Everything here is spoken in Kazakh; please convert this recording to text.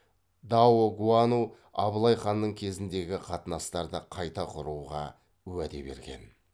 даогуану абылай ханның кезіндегі қатынастарды қайта құруға уәде берген